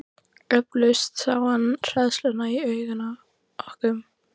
Eflaust sá hann hræðsluna í augum okkar.